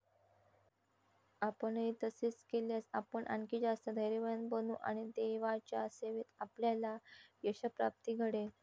आपणही तसेच केल्यास, आपण आणखी जास्त धैर्यवान बनू आणि देवाच्या सेवेत आपल्याला यशःप्राप्ती घडेल.